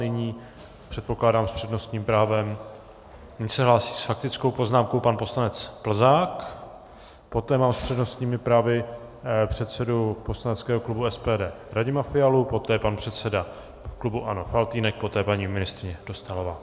Nyní, předpokládám, s přednostním právem... nyní se hlásí s faktickou poznámkou pan poslanec Plzák, poté mám s přednostními právy předsedu poslaneckého klubu SPD Radima Fialu, poté pan předseda klubu ANO Faltýnek, poté paní ministryně Dostálová.